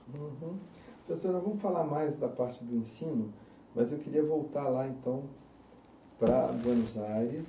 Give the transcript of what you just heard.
Uhum. Professor, nós vamos falar mais da parte do ensino, mas eu queria voltar lá então para Buenos Aires.